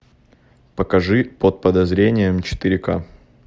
покажи под подозрением четыре ка